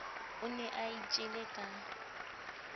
o ne a itjele ka